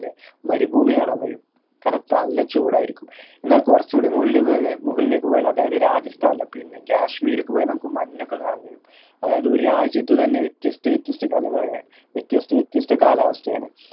ആട മരുഭൂമി കാണാൻ കഴിയും കാരണം തല ചൂടായിരിക്കും എന്നാ കുറച്ചു കൂടി മുകളിലേക്ക് പോയമുകളിലേക്ക് പോയ അതായത് രാജസ്ഥാൻ അല്ല പിന്നെ കാശ്മീരൊക്കെ പോയ നമ്മക്ക് മഞ്ഞൊക്കെ കാണാൻ കഴിയും ഒരു രാജ്യത്ത് തന്നെ വ്യത്യസ്ത വ്യത്യസ്ത കലവറ വ്യത്യസ്ത വ്യത്യസ്ത കാലാവസ്ഥ ആണ്